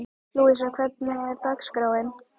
Lúísa, hvernig er dagskráin?